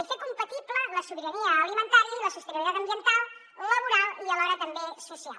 i fer compatible la sobirania alimentària i la sostenibilitat ambiental laboral i alhora també social